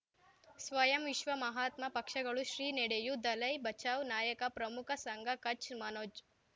ಸ್ವಯಂ ವಿಶ್ವ ಮಹಾತ್ಮ ಪಕ್ಷಗಳು ಶ್ರೀ ನಡೆಯೂ ದಲೈ ಬಚೌ ನಾಯಕ ಪ್ರಮುಖ ಸಂಘ ಕಚ್ ಮನೋಜ್